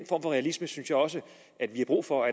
for realisme synes jeg også vi har brug for